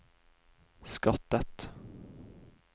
skattet